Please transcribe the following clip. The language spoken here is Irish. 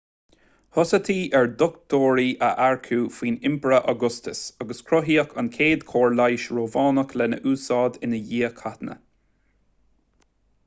thosaítí ar dhochtúirí a earcú faoin impire augustus agus cruthaíodh an chéad chór leighis rómhánach lena úsáid i ndiaidh cathanna